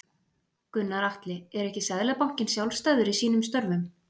Gunnar Atli: Er ekki Seðlabankinn sjálfstæður í sínum störfum?